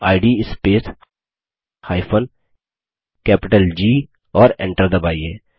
इद space G और Enter दबाइए